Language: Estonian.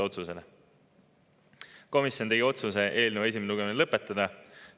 Komisjon tegi otsuse eelnõu esimene lugemine lõpetada.